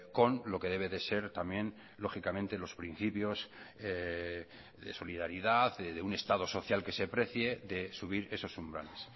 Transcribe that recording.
con lo que debe de ser también lógicamente los principios de solidaridad de un estado social que se precie de subir esos umbrales